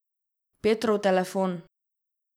Petrov telefon.